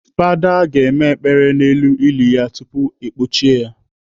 Fada ga-eme ekpere n'elu ili ya tupu ekpọchie ya.